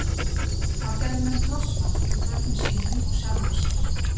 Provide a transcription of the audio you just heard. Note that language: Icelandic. Þá gerðu menn krossmark yfir börnum sínum og sjálfum sér.